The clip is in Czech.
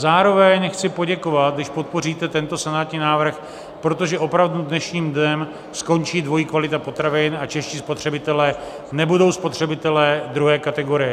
Zároveň chci poděkovat, když podpoříte tento senátní návrh, protože opravdu dnešním dnem skončí dvojí kvalita potravin a čeští spotřebitelé nebudou spotřebiteli druhé kategorie.